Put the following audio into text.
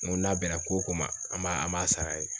Ŋo n'a bɛnna ko o ko ma an b'a an b'a sar'a ye.